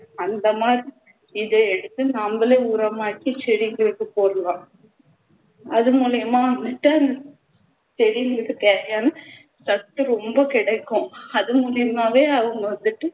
அந்தமாதிரி இதை எடுத்து நம்மளே உரமாக்கி செடிகளுக்கு போடுறோம் அது மூலமா செடிகளுக்குத் தேவையான சத்து ரொம்ப கிடைக்கும் அதுமூலமாவே அவங்க வந்துட்டு